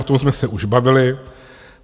O tom jsme se už bavili.